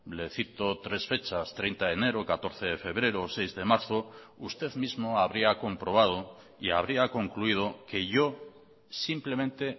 le cito tres fechas treinta de enero catorce de febrero seis de marzo usted mismo habría comprobado y habría concluido que yo simplemente